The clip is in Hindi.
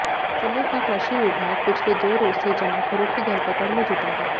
जिले का कृषि विभाग पिछले दो रोज से जमाखोरों की धरपकड़ में जुटा है